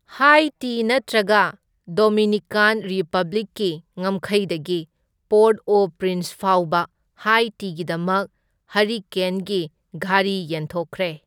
ꯍꯥꯏꯇꯤ ꯅꯠꯇ꯭ꯔꯒ ꯗꯣꯃꯤꯅꯤꯀꯥꯟ ꯔꯤꯄꯕ꯭ꯂꯤꯛꯀꯤ ꯉꯝꯈꯩꯗꯒꯤ ꯄꯣꯔꯠ ꯑꯣ ꯄ꯭ꯔꯤꯟꯁ ꯐꯥꯎꯕ ꯍꯥꯏꯇꯤꯒꯤꯗꯃꯛ ꯍꯔꯤꯀꯦꯟꯒꯤ ꯘꯔꯤ ꯌꯦꯟꯊꯣꯛꯈ꯭ꯔꯦ꯫